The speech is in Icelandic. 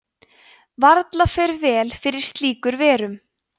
varla fer vel fyrir slíkur verum